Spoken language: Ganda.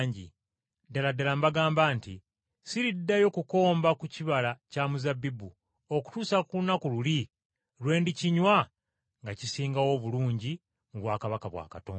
Ddala ddala mbagamba nti sigenda kuddayo kunywa ku kibala kya muzabbibu okutuusa ku lunaku luli lwe ndikinywa nga kisingawo obulungi mu bwakabaka bwa Katonda.”